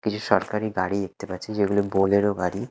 কিছু সরকারি গাড়ি দেখতে পাচ্ছি যেগুলো বোলেরো গাড়ি।